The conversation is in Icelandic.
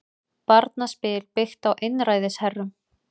Barnaspil byggt á einræðisherrum